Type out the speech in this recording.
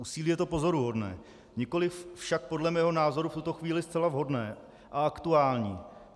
Úsilí je to pozoruhodné, nikoliv však podle mého názoru v tuto chvíli zcela vhodné a aktuální.